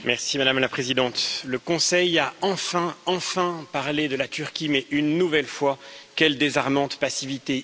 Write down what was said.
Madame la Présidente, le Conseil a enfin, enfin parlé de la Turquie, mais une nouvelle fois quelle désarmante passivité!